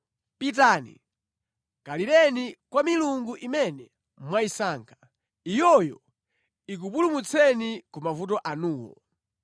Pitani kalireni kwa milungu imene mwayisankha. Iyoyo ikupulumutseni ku mavuto anuwo.”